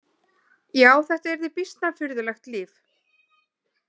Já, þetta yrði býsna furðulegt líf!